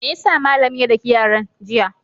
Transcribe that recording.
Me ya sa malamin ya daki yaran, jiya?